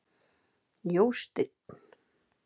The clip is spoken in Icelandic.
Jósteinn